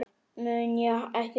mun ég ekki hætta?